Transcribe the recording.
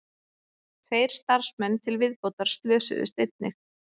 Tveir starfsmenn til viðbótar slösuðust einnig